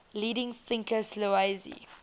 leading thinkers laozi